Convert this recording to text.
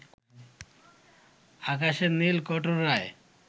আকাশের নীল কটোরায়